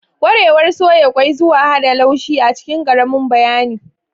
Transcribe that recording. Ƙwarewar soya ƙwai zuwa hada laushi a cikin ƙaramin bayani.